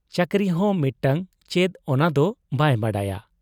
ᱪᱟᱹᱠᱨᱤᱦᱚᱸ ᱢᱤᱫᱴᱟᱹᱝ ᱪᱮᱫ ᱚᱱᱟᱫᱚ ᱵᱟᱭ ᱵᱟᱰᱟᱭᱟ ᱾